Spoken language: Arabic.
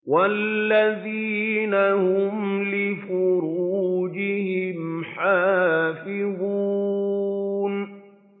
وَالَّذِينَ هُمْ لِفُرُوجِهِمْ حَافِظُونَ